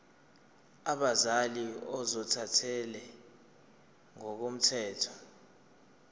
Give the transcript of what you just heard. abazali ozothathele ngokomthetho